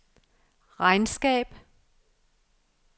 regnskab